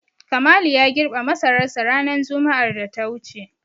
Kamalu ya girbe masararsa ranar juma'ar da ta wuce.